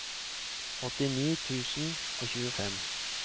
åttini tusen og tjuefem